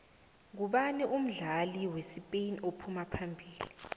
nqubani umdlali wespain ophuma phambili